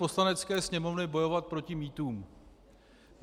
Poslanecké sněmovny bojovat proti mýtům?